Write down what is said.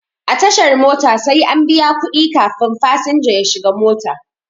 A tashar mota sai an biya kuɗi kafin fasinja ya shiga mota.